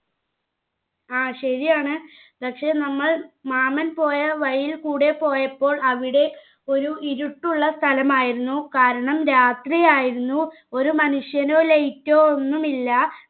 ആ ശരിയാണ് പക്ഷെ നമ്മൾ മാമൻ പോയ വഴിയിൽക്കൂടെ പോയപ്പോൾ അവിടെ ഒരു ഇരുട്ടുള്ള സ്ഥലമായിരുന്നു കാരണം രാത്രിയായിരുന്നു ഒരു മനുഷ്യനോ light ഓ ഒന്നുമില്ല